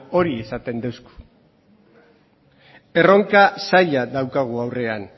hori esaten digu erronka zaila daukagu aurrean